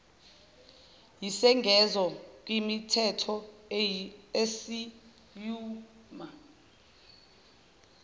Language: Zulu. yisengezo kwimithetho asiyuma